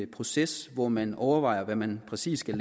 proces hvor man overvejer hvad man præcis skal